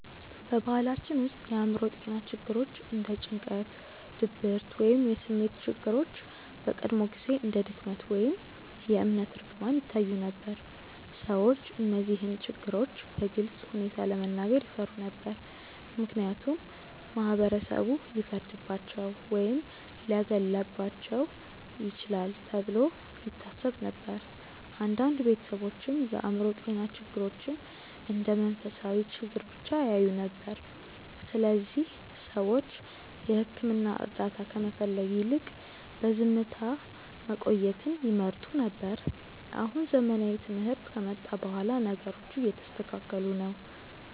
በባህላችን ውስጥ የአእምሮ ጤና ችግሮች እንደ ጭንቀት፣ ድብርት ወይም የስሜት ችግሮች በቀድሞ ጊዜ እንደ ድክመት ወይም የእምነት እርግማን ይታዩ ነበር። ሰዎች እነዚህን ችግሮች በግልፅ ሁኔታ ለመናገር ይፈሩ ነበር፣ ምክንያቱም ማህበረሰቡ ሊፈርድባቸው ወይም ሊያገለልባቸው ይችላል ተብሎ ይታሰብ ነበር። አንዳንድ ቤተሰቦችም የአእምሮ ጤና ችግሮችን እንደ መንፈሳዊ ችግር ብቻ ያዩ ነበር፣ ስለዚህ ሰዎች የሕክምና እርዳታ ከመፈለግ ይልቅ በዝምታ መቆየትን ይመርጡ ነበር። አሁን ዘመናዊ ትምህርት ከመጣ በኋላ ነገሮቹ እየተስተካከሉ ነው።